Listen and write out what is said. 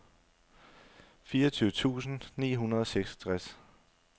fireogtyve tusind ni hundrede og seksogtres